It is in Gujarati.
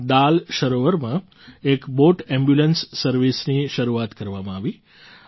અહીં ડાલ સરોવરમાં એક બૉટ એમ્બ્યુલન્સ સર્વિસની શરૂઆત કરવામાં આવી